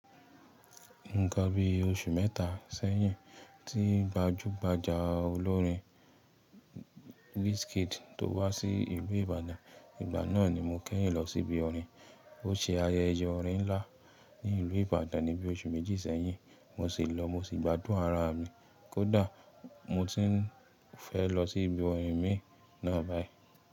Nìkan bí oṣù mẹ́ta sẹ́yìn tí gbajúgbajà olórin Wizkid tó wá sí ìlú Ibadan. Ìgbà náà ni mo kẹ́yìn lọ sí ibi orin. Ó ṣe ayẹyẹ orin ńlá ní ìlú Ibadan ní bí oṣù méjì sẹ́yìn mo sì lọ, mo sì gbádùn ara mi kódà mo ti ń fẹ́ lọ sí ibi orin mi náà báyìí.